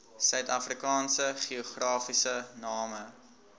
suidafrikaanse geografiese name